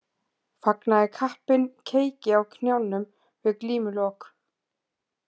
Fagnaði kappinn keiki á knjánum við glímulok.